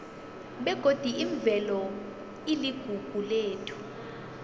begodi imvelo iligugu lethu